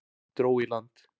Dró í land